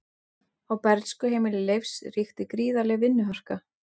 Á bernskuheimili Leifs ríkti gríðarleg vinnuharka.